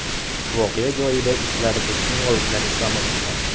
Voqea joyida itlar va kinologlar ishlamoqda.